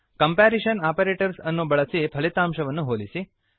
comparison operators ಅನ್ನು ಬಳಸಿ ಫಲಿತಾಂಶವನ್ನು ಹೋಲಿಸಿ